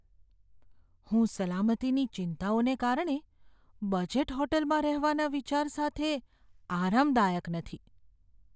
હું સલામતીની ચિંતાઓને કારણે બજેટ હોટલમાં રહેવાના વિચાર સાથે આરામદાયક નથી.